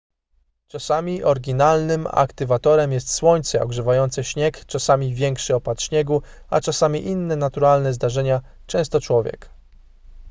czasami oryginalnym aktywatorem jest słońce ogrzewające śnieg czasami większy opad śniegu a czasami inne naturalne zdarzenia często człowiek